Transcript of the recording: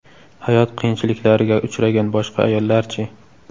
Hayot qiyinchiliklariga uchragan boshqa ayollar-chi?